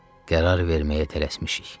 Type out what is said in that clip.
Qərar verməyə tələsmişik.